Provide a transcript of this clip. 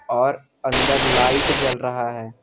और अंदर लाइट जल रहा है।